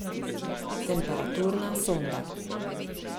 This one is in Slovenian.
Temperaturna sonda.